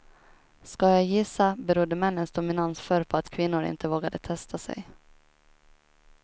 Ska jag gissa berodde männens dominans förr på att kvinnor inte vågade testa sig.